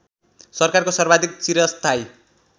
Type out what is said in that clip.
सरकारको सर्वाधिक चिरस्थायी